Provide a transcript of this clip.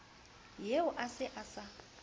eo a se a sa